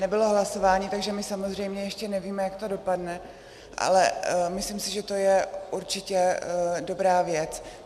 Nebylo hlasování, takže my samozřejmě ještě nevíme, jak to dopadne, ale myslím si, že to je určitě dobrá věc.